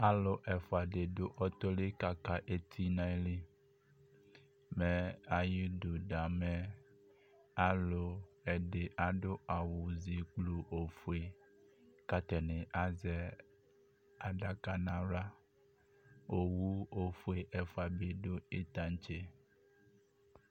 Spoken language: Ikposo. alò ɛfua di du ɔtɔ li k'aka eti n'ayili mɛ ayi du da alò ɛdi adu awu zi gblu ofue k'atani azɛ adaka n'ala owu ofue ɛfua bi du tantse.